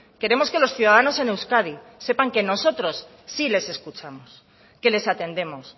queremos que los ciudadanos en euskadi sepan que nosotros sí les escuchamos que les atendemos